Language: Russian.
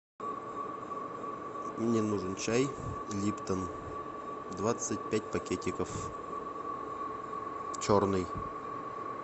мне нужен чай липтон двадцать пять пакетиков черный